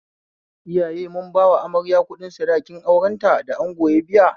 Iyaye mun ba amarya kuɗin sadakin aurenta da ango ya biya